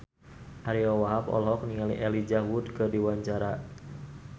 Ariyo Wahab olohok ningali Elijah Wood keur diwawancara